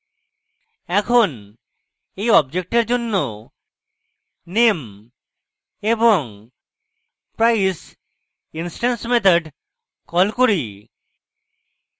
এখন এই অবজেক্টের জন্য name এবং price instance methods call করি